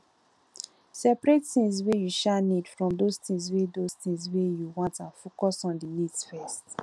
separate things wey you um need from those things wey those things wey you want and focus on di needs first